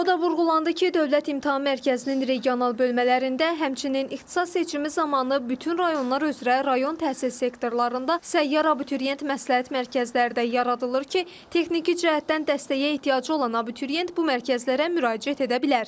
O da vurğulandı ki, Dövlət İmtahan Mərkəzinin regional bölmələrində, həmçinin ixtisas seçimi zamanı bütün rayonlar üzrə rayon təhsil sektorlarında səyyarə abituriyent məsləhət mərkəzləri də yaradılır ki, texniki cəhətdən dəstəyə ehtiyacı olan abituriyent bu mərkəzlərə müraciət edə bilər.